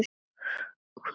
Hvern höfðum við?